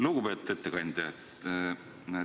Lugupeetud ettekandja!